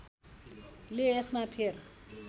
ले यसमा फेर